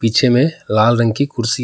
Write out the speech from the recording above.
पीछे में लाल रंग की कुर्सी